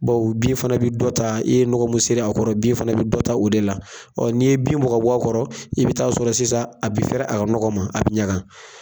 Bawo bin fana bi dɔ ta, i ye nɔgɔ mun ser'a kɔrɔ bin fana be dɔ ta o de la. n'i ye bin bɔ k'a bɔ a kɔrɔ, i bi taa sɔrɔ sisan a bi fɛɛrɛ a ka nɔgɔ ma, a bi ɲagan.